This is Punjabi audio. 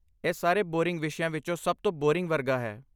ਇਹ ਸਾਰੇ ਬੋਰਿੰਗ ਵਿਸ਼ਿਆਂ ਵਿੱਚੋਂ ਸਭ ਤੋਂ ਬੋਰਿੰਗ ਵਰਗਾ ਹੈ।